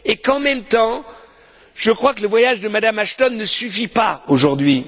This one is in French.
En même temps, je crois que le voyage de Mme Ashton ne suffit pas aujourd'hui.